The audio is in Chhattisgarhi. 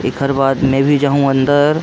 एखर बाद में भी जहूँ अंदर